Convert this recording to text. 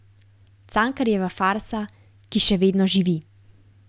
Cankarjeva farsa, ki še vedno živi.